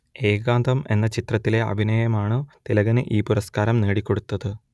ഏകാന്തം എന്ന ചിത്രത്തിലെ അഭിനയമാണു തിലകന് ഈ പുരസ്കാരം നേടിക്കൊടുത്തത്